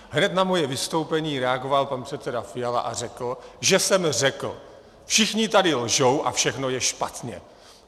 Hned na moje vystoupení reagoval pan předseda Fiala a řekl, že jsem řekl: všichni tady lžou a všechno je špatně.